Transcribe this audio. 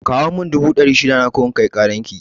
Kawo mun dubu dari shida na ko in kai karan ki